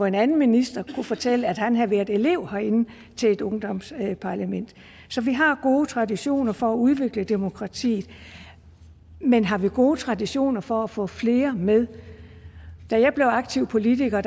en anden minister der kunne fortælle at han havde været elev herinde til et ungdomsparlament så vi har gode traditioner for at udvikle demokratiet men har vi gode traditioner for at få flere med da jeg blev aktiv politiker